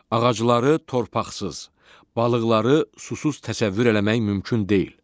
Ağacları torpaqsız, balıqları susuz təsəvvür eləmək mümkün deyil.